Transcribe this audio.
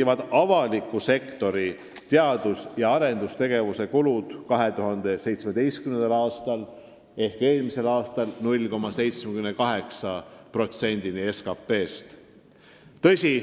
öelda, et avaliku sektori teadus- ja arendustegevuse kulud küündisid 2017. aastal 0,78%-ni SKT-st.